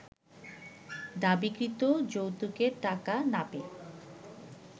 দাবিকৃত যৌতুকের টাকা না পেয়ে